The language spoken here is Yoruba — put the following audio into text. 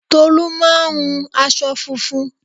Tolú máa hun aṣọ funfun